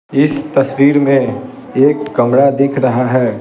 इस तस्वीर में एक कमरा दिख रहा है ।